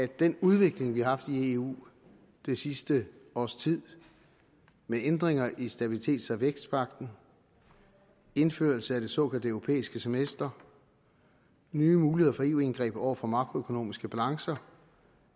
den udvikling vi har haft i eu det sidste års tid med ændringer i stabilitets og vækstpagten indførelse af det såkaldte europæiske semester nye muligheder for eu indgreb over for makroøkonomiske balancer